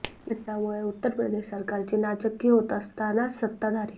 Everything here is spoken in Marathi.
या घटनांमुळे उत्तरप्रदेश सरकारची नाचक्की होत असतानाच सत्ताधारी